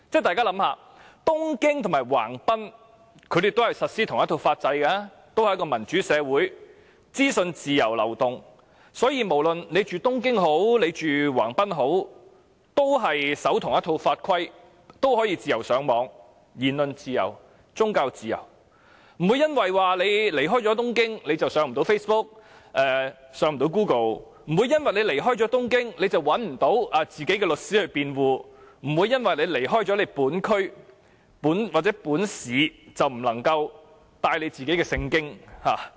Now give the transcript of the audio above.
大家試想想，東京和橫濱皆實施同一套法制，也是民主社會，資訊自由流動，所以無論居於東京或橫濱的市民，均遵守同一套法規，同樣可以自由上網，享受言論自由和宗教自由，不會因為離開東京而無法瀏覽 Facebook 或 Google， 亦不會因為離開東京而沒有律師替自己辯護，也不會因為離開本區或本市便不能攜帶《聖經》。